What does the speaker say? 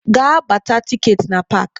Gaa gbata tikeetị na park!